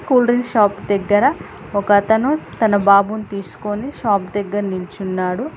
Cool drink shop దగ్గర ఒక అతను తన బాబుని తీసుకొని షాప్ దగ్గర నిల్చున్నాడు.